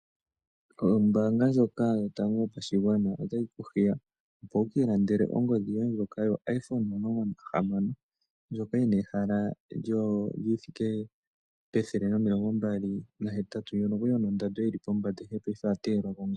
Ombaanga ndjoka yotango yopashigwana otayi kuhiya opo wuki landele ongodhi yoye ndjoka yo iphone omulongo nahamano ndjoka yina ehala lyi thike pethele nomilongo mbali nahetatu. Ndjono kwali yina ondando yili pombanda paife oya teyelwa kongolo.